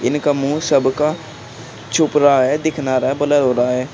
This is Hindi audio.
इनका मुंह सबका छुप रहा है दिख ना रहा है ब्लर हो रहा है।